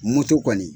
Moto kɔni